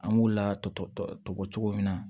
An b'u latubɛ cogo min na